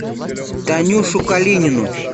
танюшу калинину